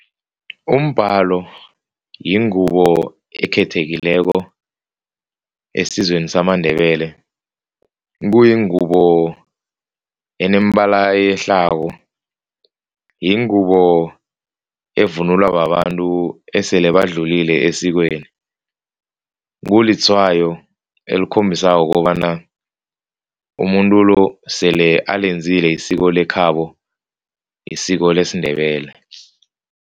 Umbalo yingubo ekhethekileko esinzweni samaNdebele. Kuyingubo enemibala eyehlako, yingubo evunulwa babantu esele badlulile esikweni. Kulitshwayo elikhombisako kobana umuntu lo sele alenzile isiko lekhabo isiko lesiNdebele.